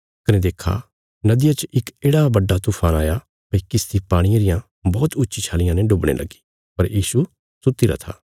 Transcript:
कने देक्खा नदिया च इक येढ़ा बड्डा तूफान आया भई किश्ती पाणिये रियां बौहत ऊच्ची छालियां ने डुबणे लगी पर यीशु सुत्तीरा था